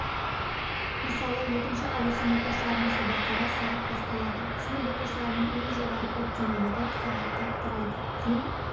мысалы екінші ауысым оқушыларының сабақтары сағат басталады сынып оқушыларының ең жоғары жүктемелігі сағатты құрайды ең